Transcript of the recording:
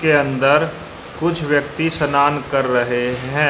के अंदर कुछ व्यक्ति सनान कर रहे हैं।